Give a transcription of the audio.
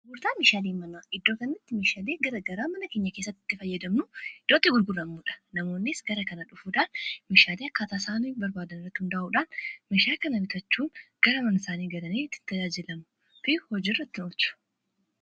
gurtaan meshaalii mama iddoo kannatti mishaalii gara garaa mana keenya keessattitti fayyadamnu iddootti gulguramu dha namoonis gara kana dhufuudaan meshaalii akkaataasaanii barbaadan irrrat hundaa'uudhaan meshaa kana bitaachuun gara manasaanii galanii itti tajaajilamuu fi hojii irraa itti olchuu